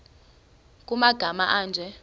nkr kumagama anje